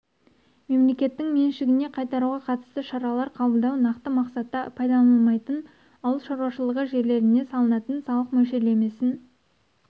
мемлекеттің меншігіне қайтаруға қатысты шаралар қабылдау нақты мақсатта пайдаланылмайтын ауыл шаруашылығы жерлеріне салынатын салық мөлшерлемесін